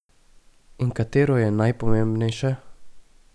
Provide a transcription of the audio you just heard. In katero je najpomembnejše?